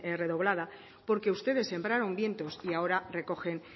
redoblada porque ustedes sembraron vientos y ahora recogen